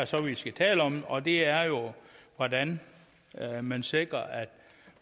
så er vi skal tale om og det er jo hvordan man sikrer at